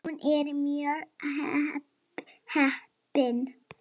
Hún er mjög heppin.